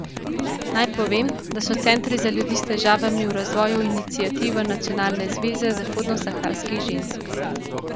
Naj povem, da so centri za ljudi s težavami v razvoju iniciativa Nacionalne zveze zahodnosaharskih žensk.